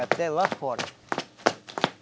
Até lá fora.